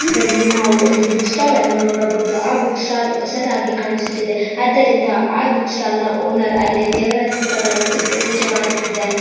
ಈದಲ್ಲಿ ನಾವು ಒಂದು book stall ನೋಡಾಬಹುದು ಆ ಬುಕ್ ಸ್ಟಾಲ್ ಹೊಸದಾಗಿ ಕಾಣಿಸುತಿದೆ ಆದ್ದರಿಂದ ಆ ಬುಕ್ ಸ್ಟಾಲ್ ಓನರ್ ಅಲ್ಲಿ ದೇವರ ಫೋಟೋ ಗಳನ್ನು ಇಟ್ಟು ಪೂಜೆ ಮಾಡುತ್ತಿದ್ದಾನೆ.